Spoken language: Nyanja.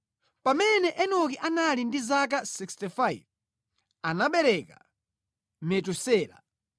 Pamene Enoki anali ndi zaka 65, anabereka Metusela.